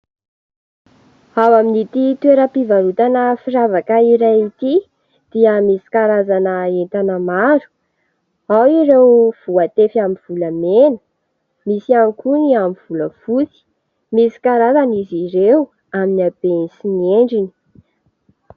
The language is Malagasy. Ao amin'ity toeram-pivarotana firavaka iray ity dia misy karazana entana maro : ao ireo voatefy amin'ny volamena, misy ihany koa ny amin'ny volafotsy, misy karazana izy ireo amin'ny habeny sy ny endriny.